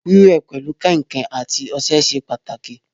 Wíwẹ̀ pẹ̀lu kàǹkàn àti ọṣẹ ṣe pàtàkì